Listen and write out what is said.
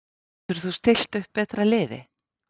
Getur þú stillt upp betra liði?